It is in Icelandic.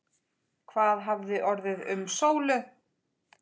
Hvað hafði orðið um Sólu?